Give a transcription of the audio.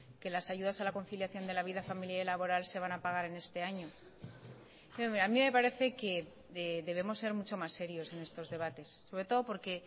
que las ayudas a la conciliación de la vida familiar y laboral se van a pagar en este año a mí me parece que debemos ser mucho más serios en estos debates sobre todo porque